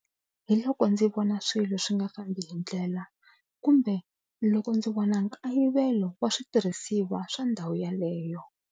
Hi loko ndzi vona swilo swi nga fambi hi ndlela kumbe loko ndzi vona nkayivelo wa switirhisiwa swa ndhawu yaleyo.